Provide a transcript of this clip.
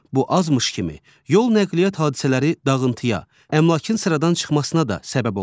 Bu azmış kimi, yol nəqliyyat hadisələri dağıntıya, əmlakın sıradan çıxmasına da səbəb olur.